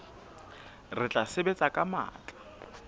re tla sebetsa ka matla